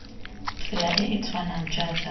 tsela e e tshwanang jaaka